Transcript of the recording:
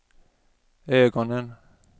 ögonen